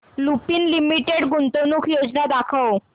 Lupin limited गुंतवणूक योजना दाखव